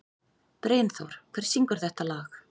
Brynþór, hver syngur þetta lag?